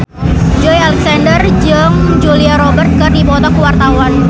Joey Alexander jeung Julia Robert keur dipoto ku wartawan